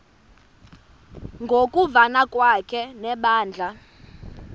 ngokuvana kwakhe nebandla